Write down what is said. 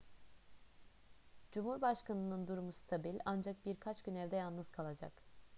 cumhurbaşkanının durumu stabil ancak birkaç gün evde yalnız kalacak